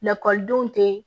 Lakɔlidenw tɛ